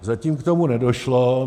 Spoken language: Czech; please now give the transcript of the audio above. Zatím k tomu nedošlo.